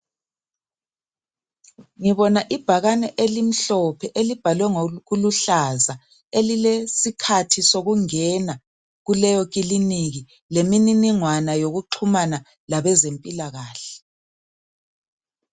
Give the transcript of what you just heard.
Ngibona ibhakane elimhlophe elibhalwe ngokuluhlaza . Elilesikhathi sokungena kuleyo kilinika lemininingwana yokuxhumana labezempilakahle.